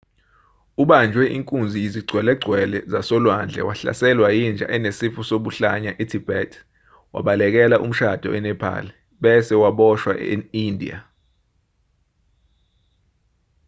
ubanjwe inkunzi yizigcwelegcwele zasolwandle wahlaselwa yinja enesifo sobuhlanya e-tibet wabalekela umshado e-nepal bese waboshwa endiya